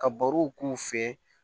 Ka barow k'u fɛ